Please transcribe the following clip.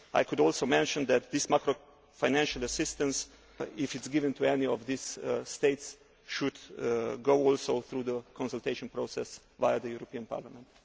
I could also mention that this macro financial assistance, if it is given to any of these states, should also go through the consultation process via the European Parliament.